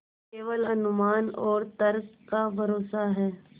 केवल अनुमान और तर्क का भरोसा है